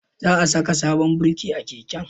Za a saka sabon birki a keken